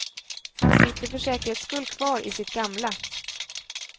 Han sitter för säkerhets skull kvar i sitt gamla.